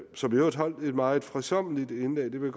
som i øvrigt holdt et meget fredsommeligt indlæg og det vil